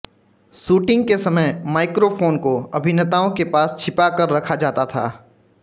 shooting के समय microphone को अभिनेताओं के पास छिपा कर रखा जाता था